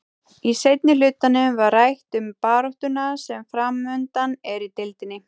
Í seinni hlutanum var rætt um baráttuna sem framundan er í deildinni.